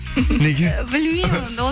неге білмеймін онда